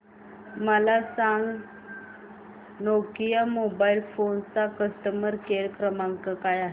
मला हे सांग नोकिया मोबाईल फोन्स चा कस्टमर केअर क्रमांक काय आहे